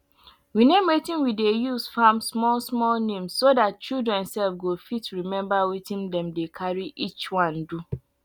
we name wetin we dey use farm small small names so dat children sef go fit remember wetin dem dey carry each one do